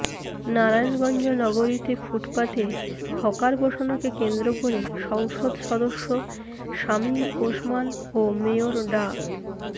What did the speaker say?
নারায়ণগঞ্জ নগরীতে ফুটপাতে হকার বসানোকে কেন্দ্র করে সংসদ সদস্য শামীম ওসমান ও মেয়র ডা